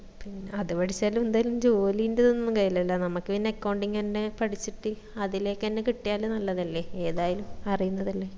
പിന്നെ അത് പഠിച്ചാലും എന്തായാലും ജോലിന്റെ ഒന്നും കയ്യിലലാ നമ്മക് പിന്നെ accounting തന്നെ പഠിച്ചിട്ട് അതിലേക്കെന്നെ കിട്ടിയാല് നല്ലതല്ലേ ഏതായാലും അറിയിന്നതല്ലേ